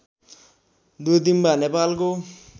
दुर्दिम्बा नेपालको